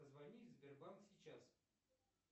позвони в сбербанк сейчас